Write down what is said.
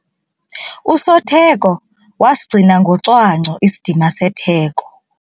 Usotheko wasigcina ngocwangco isidima setheko.